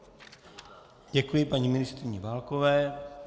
Děkuji paní ministryni Válkové.